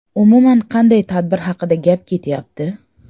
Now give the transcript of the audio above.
Umuman qanday tadbir haqida gap ketyapti?